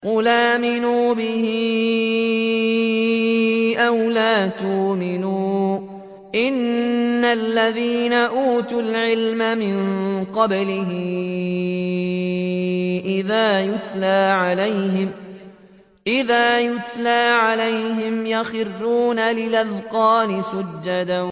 قُلْ آمِنُوا بِهِ أَوْ لَا تُؤْمِنُوا ۚ إِنَّ الَّذِينَ أُوتُوا الْعِلْمَ مِن قَبْلِهِ إِذَا يُتْلَىٰ عَلَيْهِمْ يَخِرُّونَ لِلْأَذْقَانِ سُجَّدًا